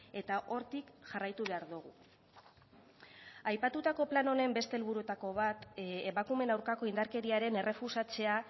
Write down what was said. eta hortik jarraitu behar dugu aipatutako plan honen beste helburuetako bat emakumeen aurkako indarkeriaren errefusatzea